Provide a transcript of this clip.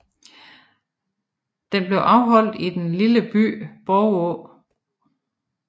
Den blev afholdt i den lille by Borgå